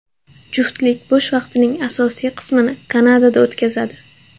Juftlik bo‘sh vaqtining asosiy qismini Kanadada o‘tkazadi.